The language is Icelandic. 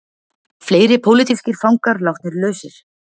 Fleiri pólitískir fangar látnir lausir